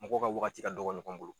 Mɔgɔ ka wagati ka dɔgɔ ɲɔgɔn bolo.